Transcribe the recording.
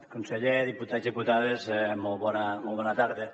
conseller diputats i diputades molt bona tarda